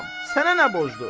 Sənə nə borc dur?